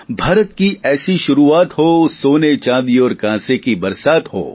ભારત કી ઐસી શુરૂઆત હો સોને ચાંદી ઔર કાંસે કી બરસાત હો